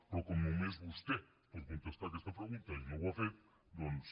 però com només vostè pot contestar aquesta pregunta i no ho ha fet doncs